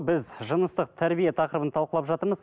біз жыныстық тәрбие тақырыбын талқылап жатырмыз